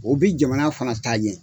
O bɛ jamana fana taa ɲɛ.